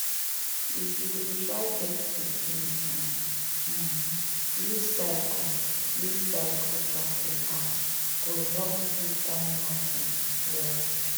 if you dey try get pikin to um use cycle use cycle tracking apps go help you time knacking well.